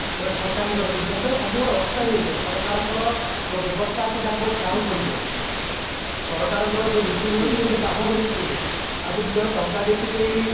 ମାନେ ଠକାମି କରନ୍ତି ଯାହାଦ୍ୱାରା ସବୁ ଗୋଟେ ଅସ୍ଥାୟୀ ହେଇଯାଏ ସରକାର ଙ୍କର ଯୋଉ ବ୍ୟବସ୍ତା ଅଛି ତାହା ପୁରା ସ୍ଥାଣୁ ପରିକେ ସରକାରଙ୍କର ଯୋଉ ଭିତ୍ତିଭିନତି ଉପରେ ବାଧକ ସୃଷ୍ଟି ହୁଏ ଆଉ ଯଦି ଜଣେ ଟଙ୍କା ଦେଇକି ସେଇ